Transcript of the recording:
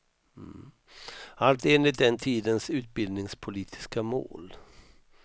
Allt enligt den tidens utbildningspolitiska mål.